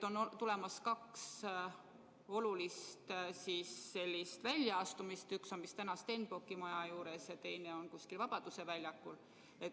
On tulemas kaks olulist sellist väljaastumist, üks on vist täna Stenbocki maja juures ja teine on kuskil Vabaduse väljakul.